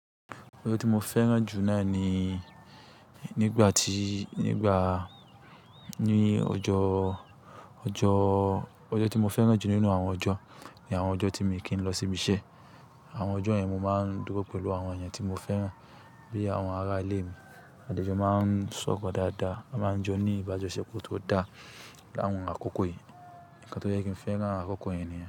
Ọjọ́ tí mo fẹ́ràn jù náà nii nígbà tíi, nígbaà, ní ọjọ́, ọjọ́, ọjọ́ tí mo fẹ́ràn jù nínú àwọn ọjọ́ ni àwọn ọjọ́ tí mi kí n lọ síbí iṣẹ́. Awọn ọjọ yẹn mo maa n duro pẹlu awọn eeyan ti mo fẹran bi awọn ara ile mi, adẹ jọ maa n sọrọ daadaa, a maa n jọ ni ibajọsepọ to daa ni awọn akoko yii. Ǹkan tó jẹ́ kí n fẹ́ràn an àkoko yẹn nìyẹn.